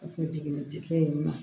Kɔfɛ jiginni kɛ yen nɔ